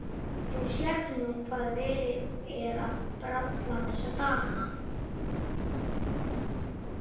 Þú sérð nú hvað verið er að bralla þessa dagana.